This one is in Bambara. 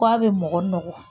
K'a bɛ mɔgɔ nɔgɔ